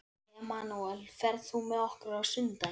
Emanúel, ferð þú með okkur á sunnudaginn?